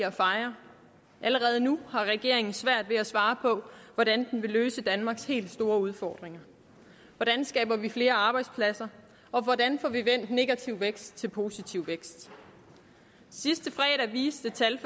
at fejre allerede nu har regeringen svært ved at svare på hvordan den vil løse danmarks helt store udfordringer hvordan skaber vi flere arbejdspladser og hvordan får vi vendt negativ vækst til positiv vækst sidste fredag viste tal